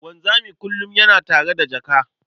Wanzami kullum yana tare da jaka.